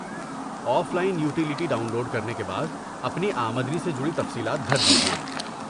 Of line utility download کرنے کے بعد، اپنی آمدنی سے جڑی تفصیلات بھر دیجئے۔